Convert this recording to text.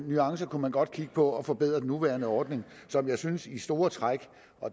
nuancer kunne man godt kigge på for at forbedre den nuværende ordning som jeg synes i store træk